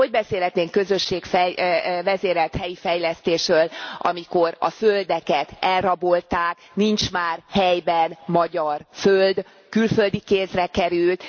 Hogy beszélhetnénk közösségvezérelt helyi fejlesztésről, amikor a földeket elrabolták, nincs már helyben magyar föld, külföldi kézre került.